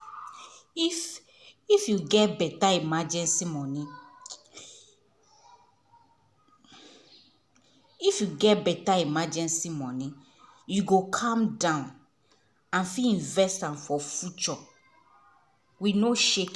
if if you get better emergency money if you get better emergency money you go calm down and fit invest for future with no shaking.